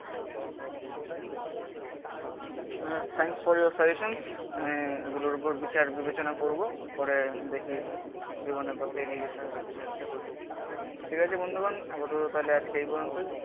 Thanks for your suggestions এগুলোর ওপর বিচার বিবেচনা করবো. করে দেখি জীবনের পথে এগিয়ে যেতে হবে কিছু একটা করে ঠিক আছে বন্ধুগণ. আপাতত তাহলে আজকে এই পর্যন্তই